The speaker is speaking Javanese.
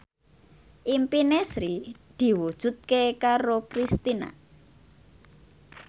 impine Sri diwujudke karo Kristina